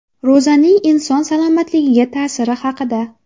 Ro‘zaning inson salomatligiga ta’siri haqida.